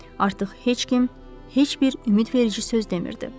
Artıq heç kim heç bir ümidverici söz demirdi.